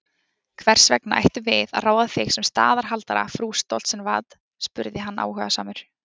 Hvers vegna ættum við að ráða þig sem staðarhaldara frú Stoltzenwad, spurði hann áhugasamur.